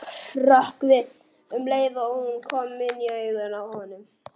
Hrökk við um leið og hún kom inn í augun á honum.